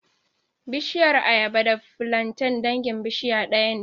Bishiyar ayaba da filanten dangin bishiya ɗaya ne